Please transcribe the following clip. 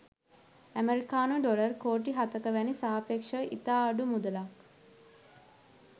ඇමෙරිකානු ඩොලර් කෝටි හතක වැනි සාපේක්ෂව ඉතා අඩු මුදලක්.